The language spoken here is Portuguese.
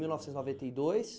mil novecentos e noventa e dois.